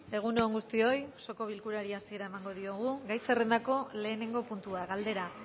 egun on guztioi osoko bilkurari hasiera emango diogu gai zerrendako lehenengo puntua galdera